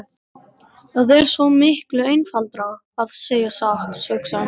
Það er svo miklu einfaldara að segja satt, hugsaði hún.